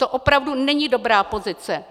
To opravdu není dobrá pozice.